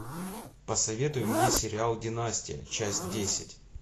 посоветуй мне сериал династия часть десять